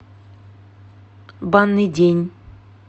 банный день